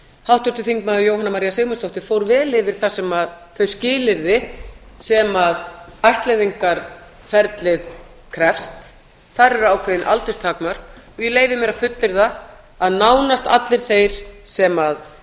háttvirtur þingmaður jóhanna maría sigmundsdóttir fór vel yfir þau skilyrði sem ættleiðingarferlinu krefst þar eru ákveðin aldurstakmörk og ég leyfi mér að fullyrða að nánast allir þeir sem